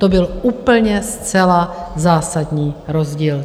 To byl úplně zcela zásadní rozdíl.